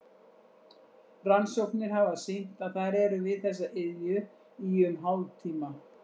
Rannsóknir hafa sýnt að þær eru við þessa iðju í um hálftíma.